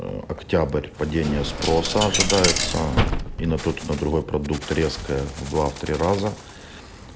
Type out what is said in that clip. а октябрь падение спроса ожидается и на тот и на другой продукт резко в два в три раза